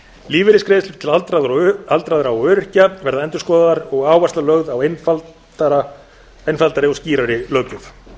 lífeyrisgreiðslur til aldraðra og öryrkja verða endurskoðaðar og áhersla lögð á einfaldari og skýrari löggjöf